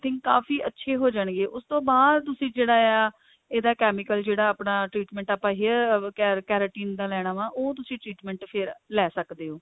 think ਕਾਫ਼ੀ ਅੱਛੇ ਹੋ ਜਾਣਗੇ ਉਸ ਤੋਂ ਬਾਅਦ ਤੁਸੀਂ ਜਿਹੜਾ ਆ ਇਹਦਾ chemical ਜਿਹੜਾ ਆਪਣਾ treatment ਆਪਣਾ hair keratin ਲੈਣਾ ਵਾ ਉਹ ਤੁਸੀਂ treatment ਫਿਰ ਲੈ ਸਕਦੇ ਹੋ